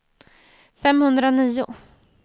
femhundranio